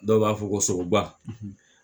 Dɔw b'a fɔ ko sogoba